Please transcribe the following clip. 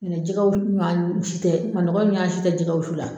N'o tɛ jɛgɛ wusu ɲansi tɛ manɔgɔ ɲansi tɛ jɛgɛ wusu la